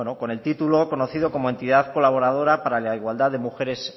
con el título conocido como entidad colaboradora para la igualdad de mujeres